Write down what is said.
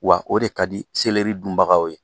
Wa o de ka di seleri dunbagaw ye.